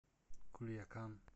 кульякан